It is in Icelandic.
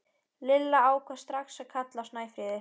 Lilla ákvað strax að kalla hana Snæfríði.